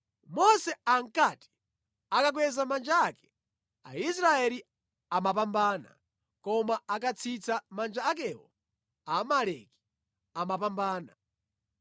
Mose ankati akakweza manja ake, Aisraeli amapambana, koma akatsitsa manja akewo Amaleki amapambana.